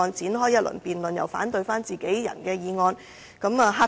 引發這一輪辯論其實有何意義呢？